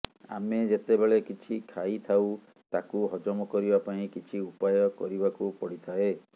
ଆମେ ଯେତେବେଳେ କିଛି ଖାଇଥାଉ ତାକୁ ହଜମ କରିବା ପାଇଁ କିଛି ଉପାୟ କରିବାକୁ ପଡିଥାଏ